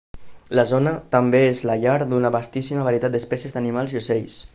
la zona també és la llar d'una vastíssima varietat d'espècies d'animals i ocells